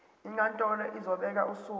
inkantolo izobeka usuku